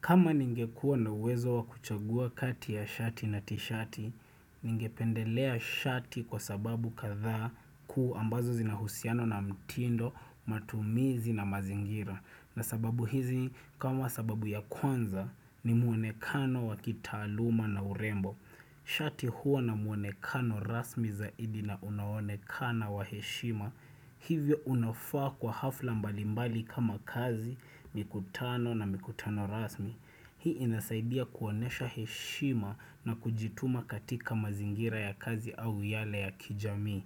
Kama ningekua na wezo wakuchagua kati ya shati na tishati, ningependelea shati kwa sababu kadha kuu ambazo zinauhusiano na mtindo, matumizi na mazingira. Na sababu hizi, kama sababu ya kwanza, ni muonekano wakitaaluma na urembo. Shati huwa na muonekano rasmi zaidi na unaonekana wa heshima. Hivyo unofa kwa hafla mbalimbali kama kazi, mikutano na mikutano rasmi. Hii inasaidia kuonesha heshima na kujituma katika mazingira ya kazi au yale ya kijami.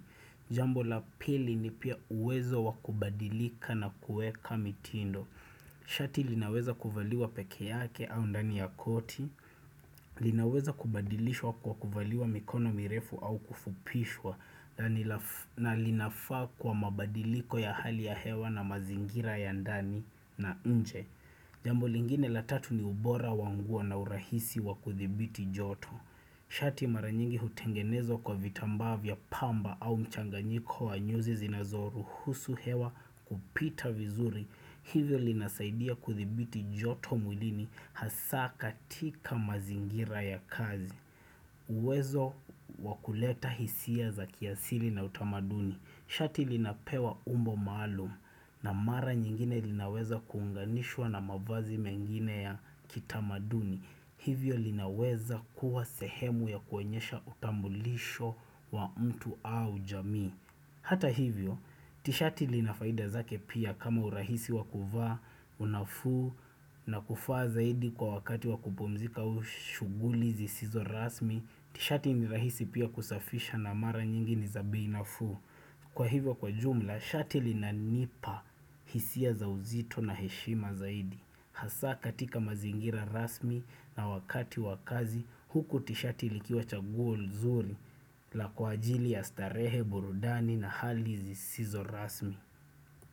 Jambo la pili ni pia uwezo wakubadilika na kueka mitindo. Shati linaweza kuvaliwa peke yake au ndani ya koti. Linaweza kubadilishwa kwa kufaliwa mikono mirefu au kufupishwa na linafa kwa mabadiliko ya hali ya hewa na mazingira ya ndani na nje Jambo lingine la tatu ni ubora wa nguo na urahisi wa kuthibiti joto Shati maranyingi hutengenezwa kwa vitamba vya pamba au mchanganyiko wa nyuzi zinazoruhusu hewa kupita vizuri Hivyo linasaidia kuthibiti joto muilini hasa katika mazingira ya kazi uwezo wakuleta hisia za kiasili na utamaduni Shati linapewa umbo malum na mara nyingine linaweza kuunganishwa na mavazi mengine ya kitamaduni Hivyo linaweza kuwa sehemu ya kuwonyesha utambulisho wa mtu au jami Hata hivyo, tishati linafaida zake pia kama urahisi wakuvaa, unafu na kufaa zaidi kwa wakati wakupumzika au shuguli zisizo rasmi, tishati ni rahisi pia kusafisha na mara nyingi ni za bei nafu. Kwa hivyo kwa jumla, shati lina nipa hisia za uzito na heshima zaidi. Hasa katika mazingira rasmi na wakati wakazi, huku tishati likiwa chaguo zuri la kwa ajili ya starehe burudani na hali zisizo rasmi.